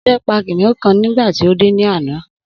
Ode pa kiniun kan nigba ti ode ni ana.